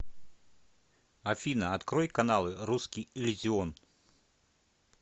афина открой каналы русский иллюзион